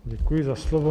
Děkuji za slovo.